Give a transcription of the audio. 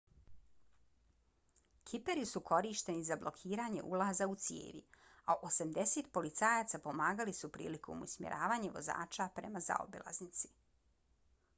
kiperi su korišteni za blokiranje ulaza u cijevi a 80 policajaca pomagali su prilikom usmjeravanja vozača prema zaobilaznici